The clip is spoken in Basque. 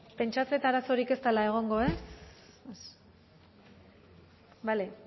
pentsatzen dut arazorik ez dela egongo ez bale